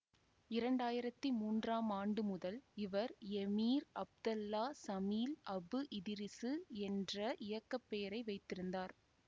இரண்டாயிரத்தி மூன்றாம் ஆண்டு முதல் இவர் எமீர் அப்தல்லா சமீல் அபுஇதிரிசு என்ற இயக்க பெயரை வைத்திருந்தார்